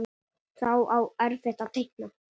Þá á eftir að teikna.